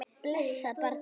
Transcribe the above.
Blessað barnið.